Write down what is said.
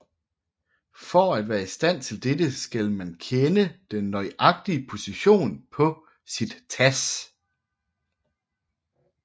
For at være i stand til dette skal man kende den nøjagtige position på sit TASS